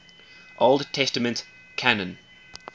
old testament canon